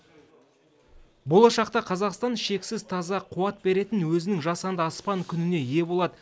болашақта қазақстан шексіз таза қуат беретін өзінің жасанды аспан күніне ие болады